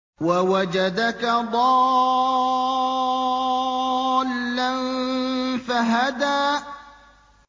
وَوَجَدَكَ ضَالًّا فَهَدَىٰ